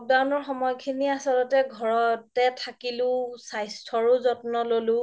lockdown ৰ সময় খিনি আচলতে ঘৰতে থাকিলো স্বাস্থ্যৰো যত্ন ল্'লো